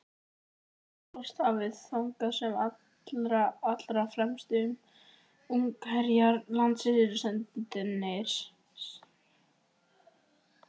Svartahafið, þangað sem allra, allra fremstu ungherjar landsins eru sendir.